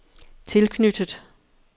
tilknyttet